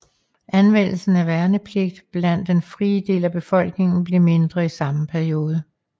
Anvendelsen af værnepligt blandt den frie del af befolkningen blev mindre i samme periode